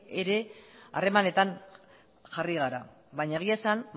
ere harremanetan jarri gara baina egia esan